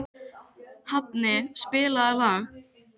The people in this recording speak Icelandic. Hafni, spilaðu lag.